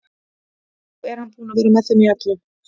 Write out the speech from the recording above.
Ó, er hann búinn að vera með í þeim öllum?